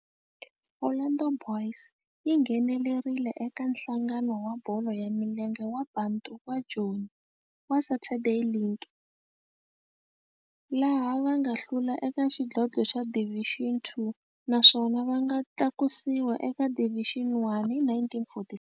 Orlando Boys yi nghenelerile eka Nhlangano wa Bolo ya Milenge wa Bantu wa Joni wa Saturday League, laha va nga hlula eka xidlodlo xa Division Two naswona va nga tlakusiwa eka Division One hi 1944.